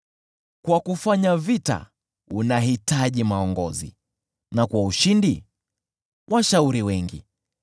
kwa kufanya vita unahitaji uongozi na kwa ushindi washauri wengi.